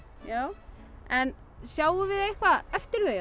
já en sjáum við eitthvað eftir þau